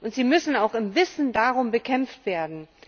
Und sie müssen auch im Wissen darum bekämpft werden.